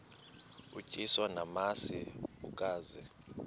utyiswa namasi ukaze